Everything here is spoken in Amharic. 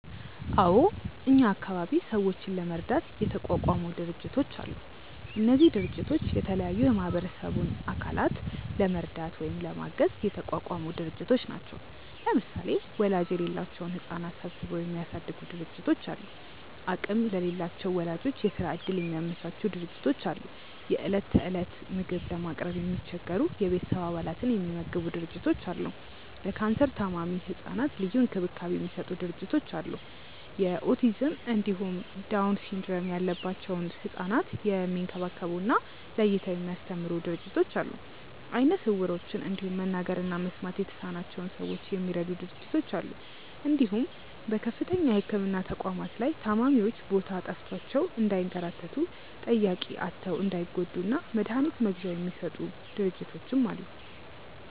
አዎ እኛ አካባቢ ሰዎችን ለመርዳት የተቋቋሙ ድርጅቶች አሉ። እነዚህ ድርጅቶች የተለያዩ የማህበረሰቡን አካላት ለመርዳት ወይም ለማገዝ የተቋቋሙ ድርጅቶች ናቸው። ለምሳሌ ወላጅ የሌላቸውን ህጻናት ሰብስበው የሚያሳድጉ ድርጅቶች አሉ፣ አቅም ለሌላቸው ወላጆች የስራ እድል የሚያመቻቹ ድርጅቶች አሉ፣ የእለት እለት ምግብ ለማቅረብ የሚቸገሩ የቤተሰብ አባላትን የሚመግቡ ድርጅቶች አሉ፣ ለካንሰር ታማሚ ህጻናት ልዩ እንክብካቤ የሚሰጡ ድርጅቶች አሉ፣ የኦቲዝም እንዲሁም ዳውን ሲንድረም ያለባቸውን ህጻናት የሚንከባከቡ እና ለይተው የሚያስተምሩ ድርጅቶች አሉ፣ አይነ ስውሮችን እንዲሁም መናገር እና መስማት የተሳናቸውን ሰዎች የሚረዱ ድርጅቶች አሉ እንዲሁም በከፍተኛ የህክምና ተቋማት ላይ ታማሚዎች ቦታ ጠፍቷቸው እንዳይንከራተቱ፣ ጠያቂ አጥተው እንዳይጎዱ እና መድሀኒት መግዣ የሚሰጡ ድርጅቶችም አሉ።